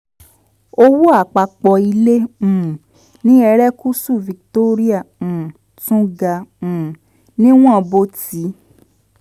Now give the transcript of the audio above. owó àpapọ̀ ilẹ̀ um ní erékùṣù victoria um tún ga um níwọ̀n bó ti